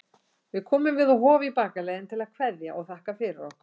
Við komum við á Hofi í bakaleiðinni til að kveðja og þakka fyrir okkur.